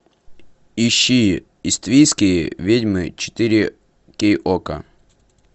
ищи иствикские ведьмы четыре кей окко